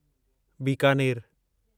बीकानेरु